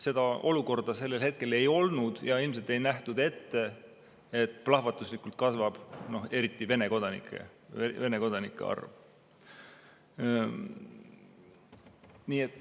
Seda olukorda sellel hetkel ei olnud ja ilmselt ei nähtud ette, et plahvatuslikult kasvab eriti Vene kodanike arv.